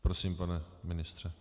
Prosím, pane ministře.